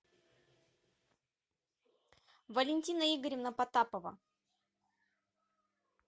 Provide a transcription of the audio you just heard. валентина игоревна потапова